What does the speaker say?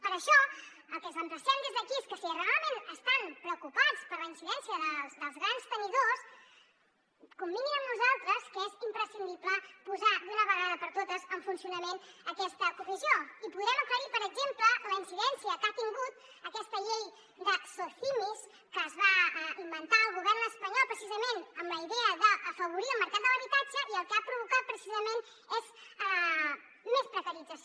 per això al que els emplacem des d’aquí és que si realment estan preocupats per la incidència dels grans tenidors convinguin amb nosaltres que és imprescindible posar d’una vegada per totes en funcionament aquesta comissió i podrem aclarir per exemple la incidència que ha tingut aquesta llei de socimis que es va inventar el govern espanyol precisament amb la idea d’afavorir el mercat de l’habitatge i el que ha provocat precisament és més precarització